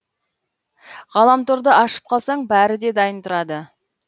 ғаламторды ашып қалсаң бәрі де дайын тұрады